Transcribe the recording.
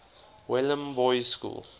welham boys school